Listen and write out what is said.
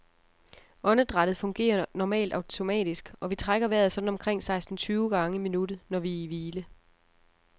Åndedrættet fungerer normalt automatisk, og vi trækker vejret sådan omkring seksten tyve gange i minuttet, når vi er i hvile.